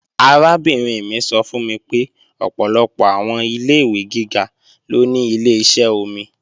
Arábìnrin mi sọ fún mi pé ọ̀pọ̀lọpọ̀ àwọn ilé-ìwé gíga ló ní Ileṣẹ́ omi